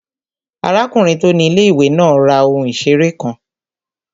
Arákùnrin tó ni ilé-ìwé náà ra ohun ìseré kan